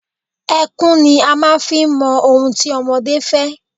Ẹkún ni a máa ń fi ń mọ ohun tí ọmọdé fẹ́.